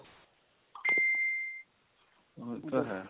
ਉਹ ਤਾਂ ਹੈ